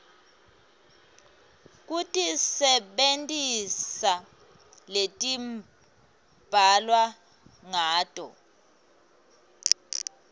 kutisebentisa letibhalwe ngato